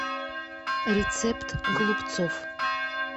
рецепт голубцов